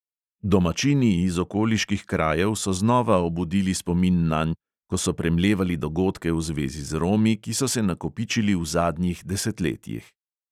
Domačini iz okoliških krajev so znova obudili spomin nanj, ko so premlevali dogodke v zvezi z romi, ki so se nakopičili v zadnjih desetletjih.